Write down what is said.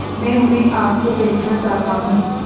मैं उन्हें आप को बेचना चाहता हूं